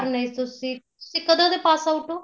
ਨਹੀਂ ਤੁਸੀਂ ਤੁਸੀਂ ਕਦੋਂ ਦੇ pass out ਓ